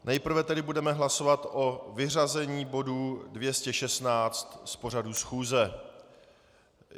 Nejprve tedy budeme hlasovat o vyřazení bodu 216 z pořadu schůze.